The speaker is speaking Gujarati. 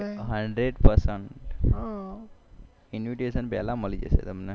hundreadpercentinvitation પેલા મળી જશે તમને